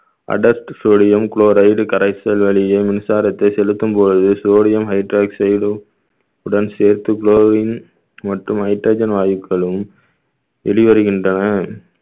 sodium chloride கரைசல் வழியே மின்சாரத்தை செலுத்தும்போது sodium hydroxide உம் உடன் சேர்த்து chlorine மற்றும் hydrogen வாயுக்களும் வெளிவருகின்றன